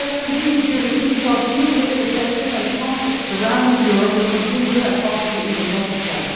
We need unity because geopolitical tension and the conflicts surrounding Europe will continue and possibly even multiply.